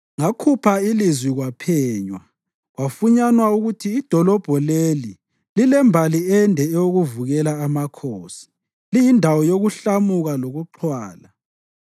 Ngakhupha ilizwi kwaphenywa, kwafunyanwa ukuthi idolobho leli lilembali ende eyokuvukela amakhosi, liyindawo yokuhlamuka lokuxhwala.